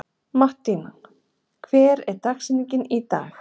Mattína, hver er dagsetningin í dag?